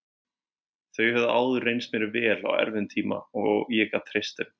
Þau höfðu áður reynst mér vel á erfiðum tíma og ég gat treyst þeim.